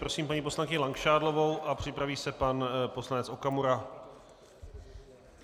Prosím paní poslankyni Langšádlovou a připraví se pan poslanec Okamura.